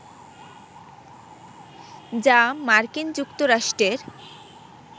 যা মার্কিন যুক্তরাষ্ট্রের